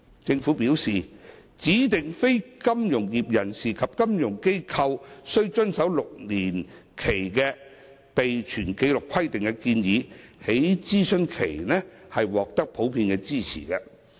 政府表示，指定非金融業人士及金融機構須遵守6年期的備存紀錄規定的建議，在諮詢期間獲得普遍支持。